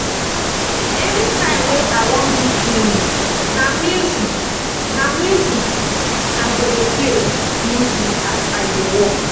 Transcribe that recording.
anytime wey I wan do cleaning na music I go music I go dey play music as I dey work